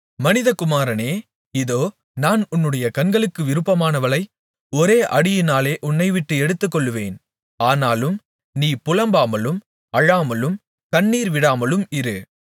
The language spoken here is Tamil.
மனிதகுமாரனே இதோ நான் உன்னுடைய கண்களுக்கு விருப்பமானவளை ஒரே அடியினாலே உன்னைவிட்டு எடுத்துக்கொள்ளுவேன் ஆனாலும் நீ புலம்பாமலும் அழாமலும் கண்ணீர்விடாமலும் இரு